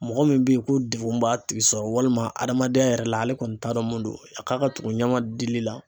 Mɔgɔ min bɛ ye ko degun b'a tigi sɔrɔ walima adamadenya yɛrɛ la ale kɔni t'a dɔn mun don, a k'a ka tugu ɲama dili la .